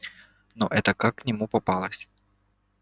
но эта как к нему попалась